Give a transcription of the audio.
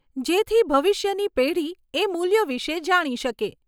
જેથી ભવિષ્યની પેઢી એ મૂલ્યો વિષે જાણી શકે.